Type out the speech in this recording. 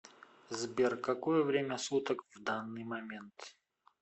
сбер какое время суток в данный момент